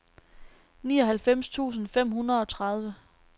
nioghalvfems tusind fem hundrede og tredive